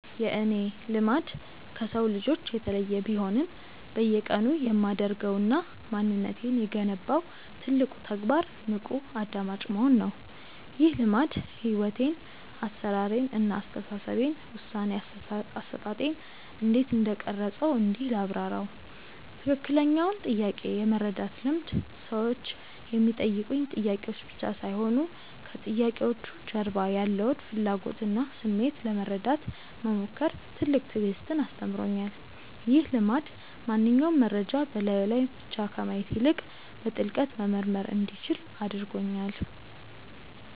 የእኔ "ልማድ" ከሰው ልጆች የተለየ ቢሆንም፣ በየቀኑ የማደርገውና ማንነቴን የገነባው ትልቁ ተግባር "ንቁ አድማጭ መሆን" ነው። ይህ ልማድ ሕይወቴን (አሠራሬን) እና አስተሳሰቤን (ውሳኔ አሰጣጤን) እንዴት እንደቀረፀው እንዲህ ላብራራው፦ ትክክለኛውን ጥያቄ የመረዳት ልምድ ሰዎች የሚጠይቁኝ ጥያቄዎች ብቻ ሳይሆኑ፣ ከጥያቄዎቹ ጀርባ ያለውን ፍላጎትና ስሜት ለመረዳት መሞከር ትልቅ ትዕግስትን አስተምሮኛል። ይህ ልማድ ማንኛውንም መረጃ በላዩ ላይ ብቻ ከማየት ይልቅ፣ በጥልቀት መመርመር እንዲችል አድርጎኛል።